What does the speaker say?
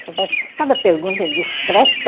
Você faz cada pergunta indiscreta.